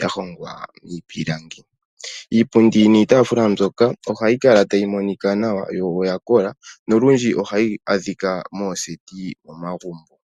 ya hongwa miipilangi. Iipundi niitaafula mbyoka ohayi kala tayi monika nawa, yo oya kola nolundji ohayi adhika mooseti momagumbo.